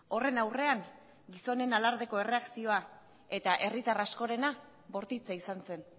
horren aurrean gizonen alardeko erreakzioa eta herritar askorena bortitza izan zen